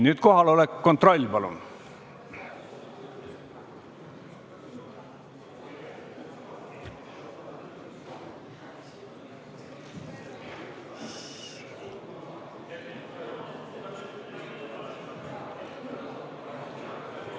Nüüd kohaloleku kontroll, palun!